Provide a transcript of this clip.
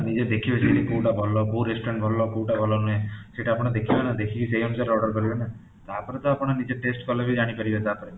ନିଜେ ଦେଖିବେ ସେଟା କୋଉଟା ଭଲ କୋଉ restaurant ଭଲ କୋଉଟା ଭଲ ନୁହେ ସେଟା ଆପଣ ଦେଖିବେ ନା ଦେଖିକି ସେଇ ଅନୁସାରେ order କରିବେ ନା ତାପରେ ତ ଆପଣ ନିଜେ test କଲେ ଜାଣିପାରିବେ ତାପରେ